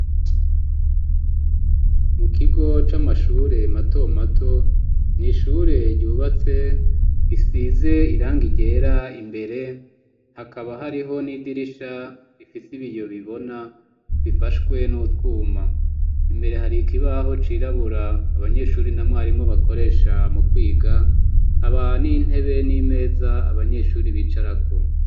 Mu kigo c'amashure matomato ni ishure ryubatse isize irangi ryera imbere hakaba hariho n'idirisha rifise ibiyo bibona bifashwe n'utwuma imbere hari ikibaho cirabura abanyeshuri na mwarimo bakoreshe samukwiga haba n'intebe n'imeza abanyeshuri bicarako.